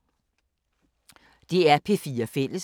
DR P4 Fælles